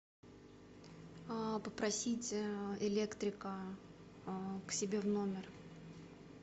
попросить электрика к себе в номер